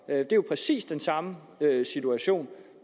er jo præcis den samme situation